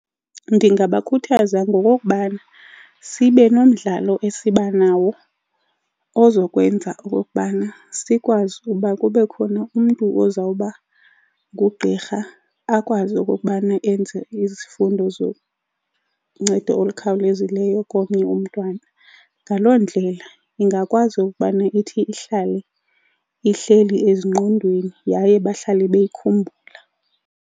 Ndingabakhuthaza ngokokubana sibe nomdlalo esibanawo ozokwenza okokubana sikwazi uba kube khona umntu ozawuba ngugqirha akwazi okokubana enze izifundo zoncedo okukhawulezileyo komnye umntwana. Ngaloo ndlela ingakwazi ukubana ithi ihlale ihleli ezingqondweni yaye bahlale beyikhumbula.